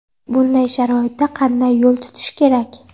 Bunday sharoitda qanday yo‘l tutish kerak?